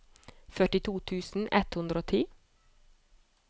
førtito tusen ett hundre og ti